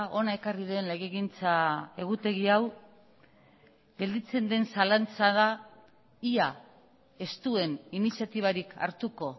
hona ekarri den legegintza egutegi hau gelditzen den zalantza da ia ez duen iniziatibarik hartuko